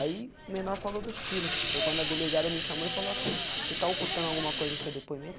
Aí o menor falou dos tiro, foi quando a delegada me chamou e falou assim, você está ocultando alguma coisa no seu depoimento?